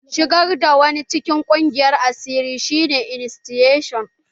Shigar da wani cikin ƙungiyar asiri shi ne iniciasun.